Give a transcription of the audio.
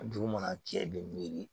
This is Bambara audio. Dugu mana jɛ i bɛ miiri